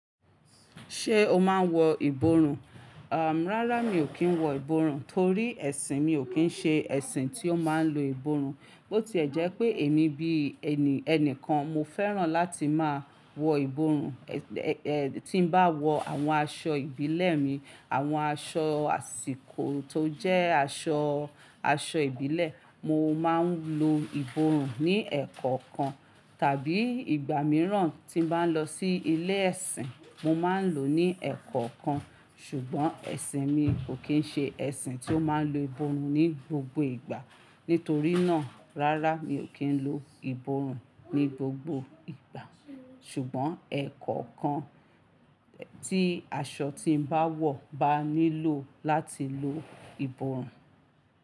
Ṣé o máa ń wọ ìborùn? À, rárá mi ò kí ń wọ ìborùn torí ẹ̀sìn mi ò kí ń ṣe ẹ̀sìn tí ó máa ń lo ìborùn. Botí ẹ jẹ́ pé èmi bí ẹni, ẹnìkan mo fẹ́ràn láti máa wọ ìborùn. Ẹ̀, ẹ́, tí bá wọ àwọn aṣọ ìbílẹ̀ mi, àwọn aṣọ àsìkò tó jẹ́ aṣọ, aṣọ ìbílẹ̀, mo máa ń lo ìborùn ní ẹ̀kankan tàbí ìgbà mìíràn tí bá lọ sí ilé ẹ̀sìn, mo máa ń lò ó ní ẹ̀kọ̀ kan. Ṣùgbọ́n ẹ̀sìn mi ò kí ń ṣe ẹ̀sìn tí ó máa ń lo ìborùn ní gbogbo ìgbà. Nítorí náà, rárá mi ò kí ń lo ìborùn ní gbogbo ìgbà. Ṣùgbọ́n ẹ̀kan kan, tí aṣọ tí mo bá wọ̀ bá nílò láti lo ìborùn.